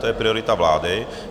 To je priorita vlády.